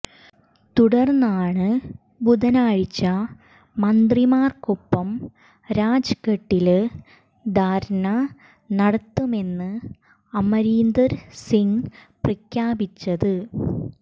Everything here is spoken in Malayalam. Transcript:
തുടര്ന്നാണ് ബുധനാഴ്ച മന്ത്രിമാര്ക്കൊപ്പം രാജ്ഘട്ടില് ധര്ണ നടത്തുമെന്ന് അമരീന്ദര് സിങ് പ്രഖ്യാപിച്ചത്